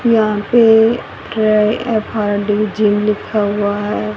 यहां पे ये एफ_आर_डी_जी लिखा हुआ है।